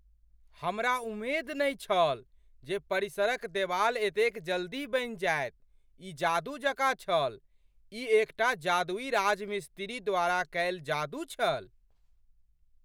हमरा उम्मेद नहि छल जे परिसरक देवाल एतेक जल्दी बनि जायत, ई जादू जकाँ छल ! ई एकटा जादुई राजमिस्त्री द्वारा कयल जादू छल ।